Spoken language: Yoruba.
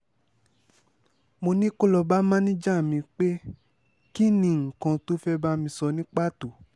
mo ní kó lọ́ọ́ bá máníjà mi pé kín ni nǹkan tó fẹ́ẹ́ bá mi sọ ní pàtó